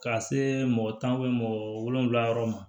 Ka see mɔgɔ tan mɔgɔ wolonfila yɔrɔ ma